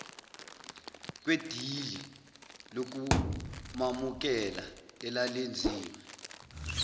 kwedili lokumamukela elalenziwe